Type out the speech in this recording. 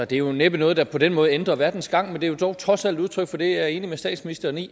det er jo næppe noget der på den måde ændrer verdens gang men det er dog trods alt udtryk for det jeg er enig med statsministeren i